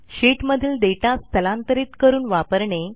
शीटमधील डेटा स्थलांतरीत करून वापरणे